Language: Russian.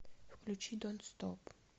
включи донт стоп